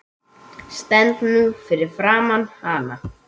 Stend nú fyrir framan hana.